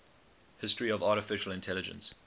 history of artificial intelligence